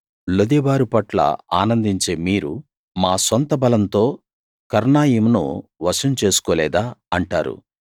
లొదెబారు పట్ల ఆనందించే మీరు మా సొంత బలంతో కర్నాయిం ను వశం చేసుకోలేదా అంటారు